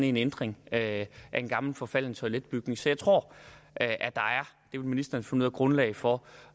en ændring af en gammel forfalden toiletbygning så jeg tror at at der det vil ministeren finde er grundlag for